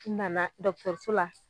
N nana dɔkutɛruso la